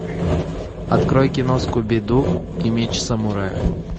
открой кино скуби ду и меч самурая